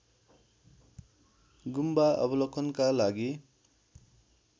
गुम्बा अवलोकनका लागि